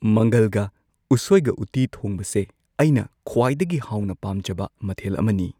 ꯃꯪꯒꯜꯒ ꯎꯁꯣꯏꯒ ꯎꯇꯤ ꯊꯣꯡꯕꯁꯦ ꯑꯩꯅ ꯈ꯭ꯋꯥꯏꯗꯒꯤ ꯍꯥꯎꯅ ꯄꯥꯝꯖꯕ ꯃꯊꯦꯜ ꯑꯃꯅꯤ꯫